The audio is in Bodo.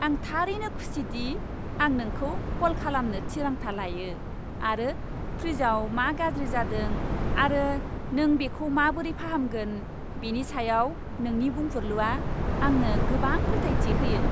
आं थारैनो खुसि दि आं नोंखौ कल खालामनो थिरांथा लायो आंनि फ्रिजआव मा गाज्रि जादों आरो नों बेखौ माबोरै फाहामगोन, बेनि सायाव नोंनि बुंफुरलुआ आंनो गोबां फोथायथि होयो।